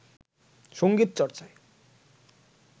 সংগীত চর্চায়